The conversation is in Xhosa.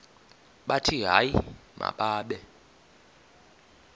bathi hayi mababe